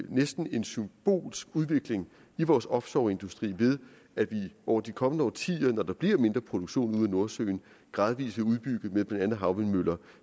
næsten symbolsk udvikling i vores offshoreindustri ved at vi over de kommende årtier når der bliver mindre produktion i nordsøen gradvis vil udbygge med blandt andet havvindmøller